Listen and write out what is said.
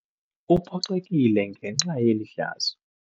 Uphoxekile ngenxa yeli hlazo.